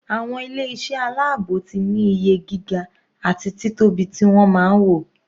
Àwọn ilé iṣẹ́ aláàbò ti ní iye gíga àti títóbi ti wọ́n máa ń wò.